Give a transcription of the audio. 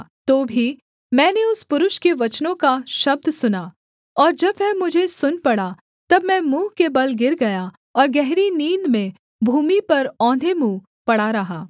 तो भी मैंने उस पुरुष के वचनों का शब्द सुना और जब वह मुझे सुन पड़ा तब मैं मुँह के बल गिर गया और गहरी नींद में भूमि पर औंधे मुँह पड़ा रहा